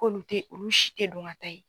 K'olu tɛ olu si tɛ dɔn ka taa ye.